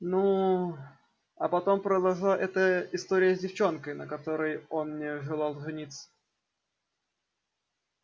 ну а потом произошла эта история с девчонкой на которой он не желал жениться